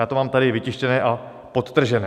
Já to mám tady vytištěné a podtržené.